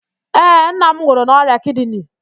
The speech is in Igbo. Ee, nna m nwụrụ n'ọrịa kidini